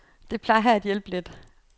Det plejer at hjælpe lidt.